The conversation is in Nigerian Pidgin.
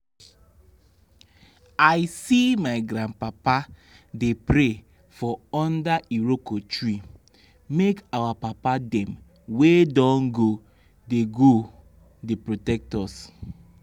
i see my grandpapa dey pray for under iroko tree make our papa dem wey don go dey go dey protect us.